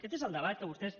aquest és el debat que vostès